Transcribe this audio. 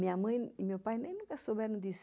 Minha mãe e meu pai nem nunca souberam disso.